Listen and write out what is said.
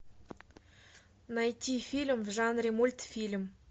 найти фильм в жанре мультфильм